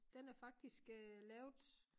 Den er faktisk øh lavet